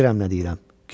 Bilirəm nə deyirəm.